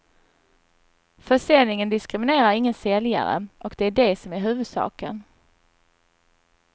Försäljningen diskriminerar ingen säljare, och det är det som är huvudsaken.